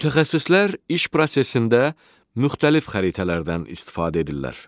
Mütəxəssislər iş prosesində müxtəlif xəritələrdən istifadə edirlər.